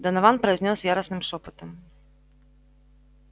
донован произнёс яростным шёпотом